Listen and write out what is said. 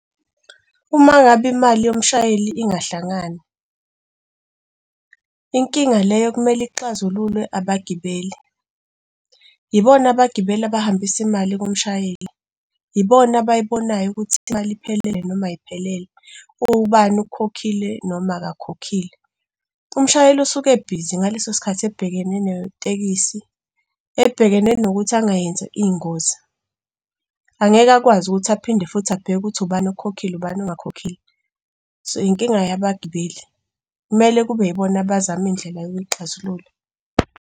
Uma ngabe imali yomshayeli ingahlangani, inkinga leyo okumele ixazululwe abagibeli. Yibona abagibeli abahambisa imali kumshayeli, yibona abayibonayo ukuthi imali iphelele noma ayiphelele, ubani okhokhile noma akakhokhile. Umshayeli usuke ebhizi ngaleso sikhathi ebhekene netekisi, ebhekene nokuthi angayenza iy'ngozi, angeke akwazi ukuthi aphinde futhi abheke ukuthi ubani okhokhile ubani ongakhokhile, so inkinga yabagibeli kumele kube yibona abazama iy'ndlela yokuxazulula.